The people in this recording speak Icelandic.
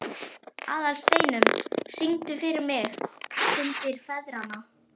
Aðalsteinunn, syngdu fyrir mig „Syndir feðranna“.